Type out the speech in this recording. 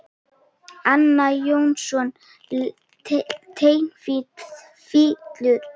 Arnar Jónsson leikari flytur texta.